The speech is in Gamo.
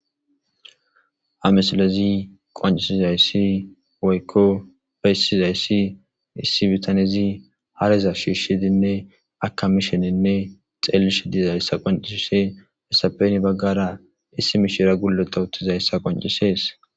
amesilezi qoncisizayssi woykko bayissizayssi issi bitanezi hareza shiishshidinne akamishenenne xeellishe diizayssa qoncisise hessapen baggara issi mishira gulota uttizayssa qoncisees